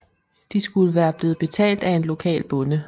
De skulle være blevet betalt af en lokal bonde